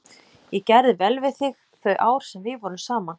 Ég gerði vel við þig þau ár sem við vorum saman.